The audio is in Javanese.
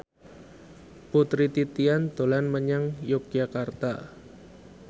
Putri Titian dolan menyang Yogyakarta